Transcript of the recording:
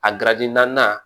A naaninan